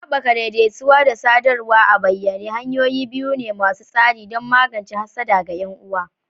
Haɓaka daidaituwa da sadarwa a bayyane hanyoyi biyu ne masu tasiri don magance hassada ga 'yan'uwa.